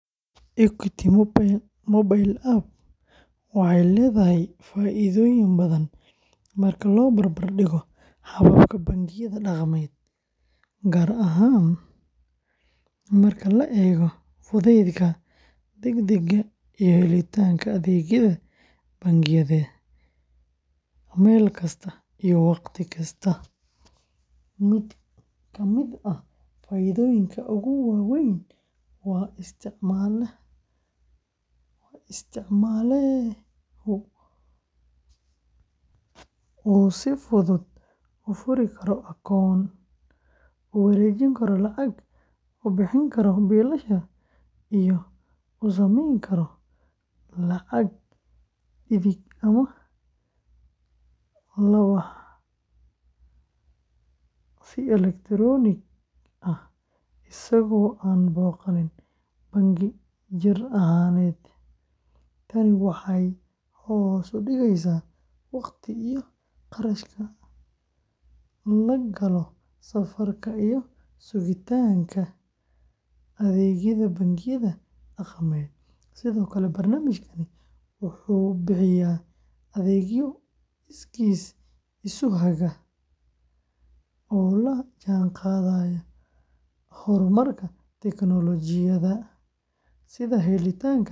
Equity Mobile App waxay leedahay faa’iidooyin badan marka loo barbar dhigo hababka bangiyada dhaqameed, gaar ahaan marka la eego fudaydka, degdegga, iyo helitaanka adeegyada bangiyada meel kasta iyo wakhti kasta. Mid ka mid ah faa’iidooyinka ugu waa weyn waa in isticmaalehu uu si fudud u furi karo akoon, u wareejin karo lacag, u bixin karo biilasha, iyo u samayn karo lacag dhigid ama la bax si elektaroonik ah isagoo aan booqan bangi jir ahaaneed. Tani waxay hoos u dhigaysaa waqtiga iyo kharashka la galo safarka iyo sugitaanka adeegyada bangiyada dhaqameed. Sidoo kale, barnaamijkani wuxuu bixiyaa adeegyo iskiis isu haga oo la jaanqaadaya horumarka tiknoolajiyada, sida helitaanka.